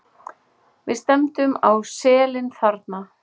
Við stefndum á selin þarna.